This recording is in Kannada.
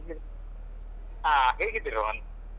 ಹಾ ಹೇಗಿದ್ದಿ ರೋಹನ್?